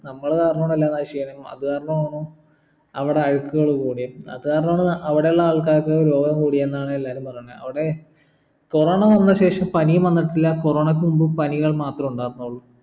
നമ്മൾ കാരണാണ് എല്ലാ നശിക്കുന്നന്നും അത് കാരണാണ് അവിടെ അഴുക്കുകൾ കൂടിയേ അതു കാരണാണ് അവടെ ഉള്ള ആൾക്കാർക്ക് രോഗം കൂടിയെന്നാണ് എല്ലാരും പറയണേ അവിടെ corona വന്ന ശേഷം പനിയും വന്നിട്ടില്ല corona ക്കു മുമ്പ് പനികൾ മാത്രേ ഉണ്ടാർന്നുള്ളു